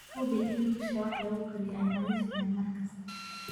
Hubi in dusha wax lagu kariyo ay nadiif tahay mar kasta.